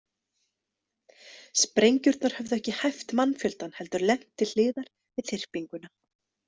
Sprengjurnar höfðu ekki hæft mannfjöldann heldur lent til hliðar við þyrpinguna.